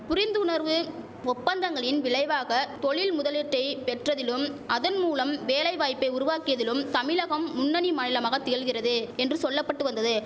புரிந்துணர்வு ஒப்பந்தங்களின் விளைவாக தொழில் முதலீட்டை பெற்றதிலும் அதன் மூலம் வேலை வாய்ப்பை உருவாக்கியதிலும் தமிழகம் முன்னணி மாநிலமாக திகழ்கிறது என்று சொல்லபட்டு வந்தது